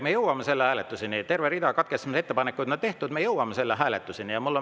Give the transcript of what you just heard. Me jõuame selle hääletuseni, terve rida katkestamise ettepanekuid on tehtud, me jõuame selle hääletuseni.